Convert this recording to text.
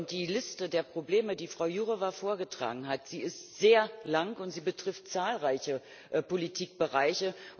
Die Liste der Probleme, die Frau Jourová vorgetragen hat, ist sehr lang, und sie betrifft zahlreiche Politikbereiche.